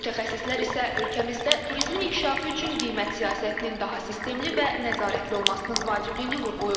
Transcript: Mütəxəssislər isə ölkəmizdə turizmin inkişafı üçün qiymət siyasətinin daha sistemli və nəzarətli olmasının vacibliyini vurğulayırlar.